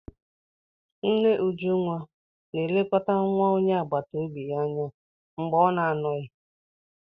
Nne Ujunwa na-elekọta nwa onye agbata obi ya anya mgbe ọ na-anọghị ya.